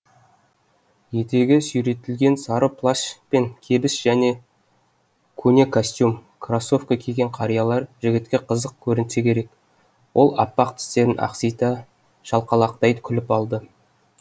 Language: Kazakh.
етегі сүйретілген сары плащ пен кебіс және көне костюм кроссовка киген қариялар жігітке қызық көрінсе керек ол аппақ тістерін ақсита шалқалақтай күліп алды